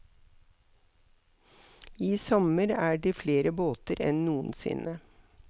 I sommer er det flere båter enn noensinne.